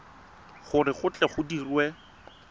gore go tle go dirwe